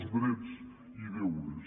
els drets i deures